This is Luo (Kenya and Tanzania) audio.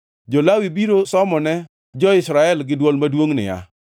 Jo-Lawi biro somone jo-Israel gi dwol maduongʼ niya,